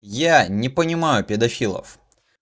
я не понимаю педофилов